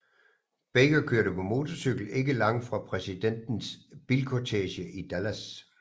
Baker kørte på motorcykel ikke langt fra præsidentens bilkortege i Dallas